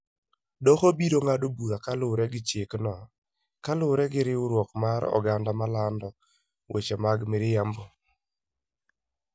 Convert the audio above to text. Doho biro ng'ado bura kaluwore gi chikno kaluwore gi riwruok mar oganda malando "weche mag miriambo".